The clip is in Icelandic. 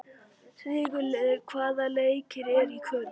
Sigurliði, hvaða leikir eru í kvöld?